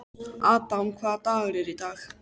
Adam, hvaða dagur er í dag?